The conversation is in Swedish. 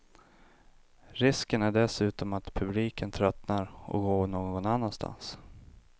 Risken är dessutom att publiken tröttnar och går någon annanstans.